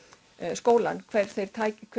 skólann hver þeirra